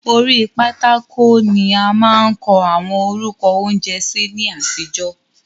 Orí pátákò ni a máa ń kọ àwọn orúkọ oúnjẹ sí ní àtijọ́.